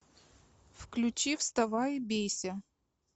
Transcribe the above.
включи вставай и бейся